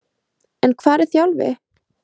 En hvar er Þjálfi?